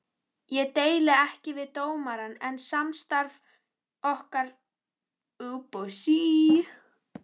Ég deili ekki við dómarann, en samstarf getur hjálpað.